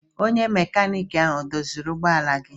Onye mekaniki ahụ ọ doziri ụgbọ ala gị?